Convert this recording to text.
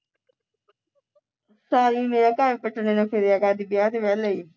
ਤਾਂ ਹੀ ਮੇਰਾ ਘਰ ਪੱਟ ਨੇ ਨੂੰ ਫੀਰਿਆ ਕਰ ਜੇ ਅੱਜ ਕਿਹਾ ਤਾਂ ਮੈਂ ਲਈ